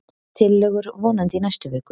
Tillögur vonandi í næstu viku